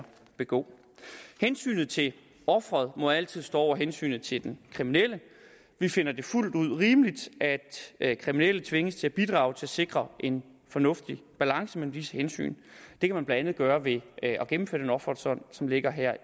begå hensynet til offeret må altid stå over hensynet til den kriminelle vi finder det fuldt rimeligt at kriminelle tvinges til at bidrage til at sikre en fornuftig balance mellem disse hensyn det kan man blandt andet gøre ved at gennemføre den offerfond som ligger